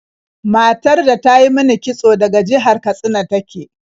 Matar da ta yi min kitso daga jihar Katsina ta ke.